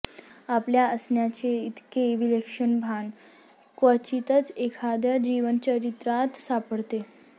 आपल्या असण्याचे इतके विलक्षण भान क्वचितच एखाद्या जीवनचरित्रात सापडते